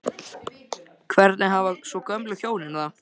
Hvernig hafa svo gömlu hjónin það?